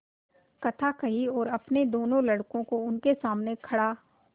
कथा कही और अपने दोनों लड़कों को उनके सामने खड़ा